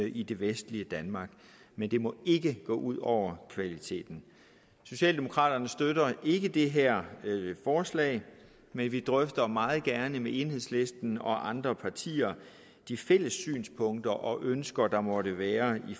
i det vestlige danmark men det må ikke gå ud over kvaliteten socialdemokraterne støtter ikke det her forslag men vi drøfter meget gerne med enhedslisten og andre partier de fælles synspunkter og ønsker der måtte være